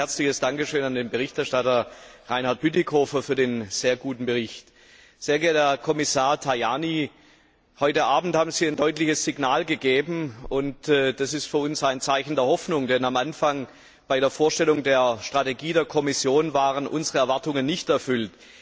Zunächst ein herzliches Dankeschön an den Berichterstatter Reinhard Bütikofer für den sehr guten Bericht! Sehr geehrter Herr Kommissar Tajani, heute Abend haben Sie ein deutliches Signal gegeben, und das ist für uns ein Zeichen der Hoffnung, denn am Anfang, bei der Vorstellung der Strategie der Kommission, waren unsere Erwartungen nicht erfüllt.